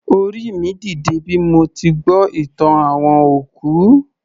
Orí mi ń dìde bí mo ti gbọ́ ìtàn àwọn òkú